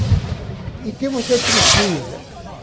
E o que você precisa?